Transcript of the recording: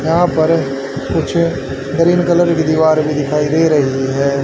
यहां पर कुछ ग्रीन कलर की दिवार भी दिखाई दे रही है।